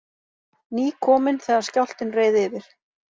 Nýkomin þegar skjálftinn reið yfir